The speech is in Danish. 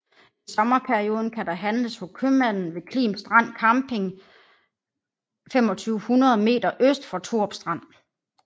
I sommerperioden kan der handles hos købmanden ved Klim Strand Camping 2500 meter øst for Thorup Strand